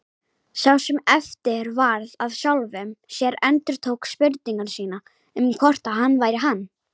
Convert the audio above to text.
Sá sem eftir varð af sjálfum sér endurtók spurningu sína um hvort hann væri hann.